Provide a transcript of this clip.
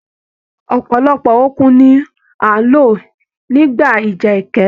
Ọpọlọpọ òkun ní a n ló nígbà ìjà ẹkẹ.